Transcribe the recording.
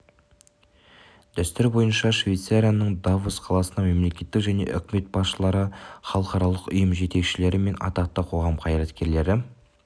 дәстүр бойынша швейцарияның давос қаласына мемлекет және үкімет басшылары халықаралық ұйым жетекшілері мен атақты қоғам қайраткерлері